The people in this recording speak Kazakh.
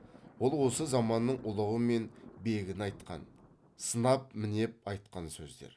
ол осы заманның ұлығы мен бегін айтқан сынап мінеп айтқан сөздер